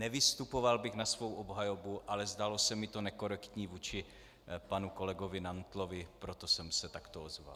Nevystupoval bych na svou obhajobu, ale zdálo se mi to nekorektní vůči panu kolegovi Nantlovi, proto jsem se takto ozval.